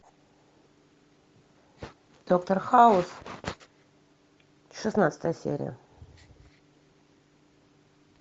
доктор хаус шестнадцатая серия